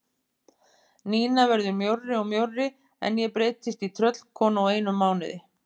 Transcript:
Nína verður mjórri og mjórri en ég breytist í tröllkonu á einum mánuði.